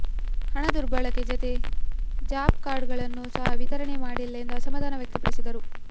ಹಣ ದುರ್ಬಳಕೆ ಜತೆ ಜಾಬ್ ಕಾರ್ಡ್ಗಳನ್ನು ಸಹ ವಿತರಣೆ ಮಾಡಿಲ್ಲ ಎಂದು ಅಸಮಾಧಾನ ವ್ಯಕ್ತಪಡಿಸಿದರು